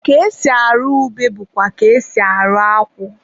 ka esi arụ ube bụkwa ka e si arụ akwụ.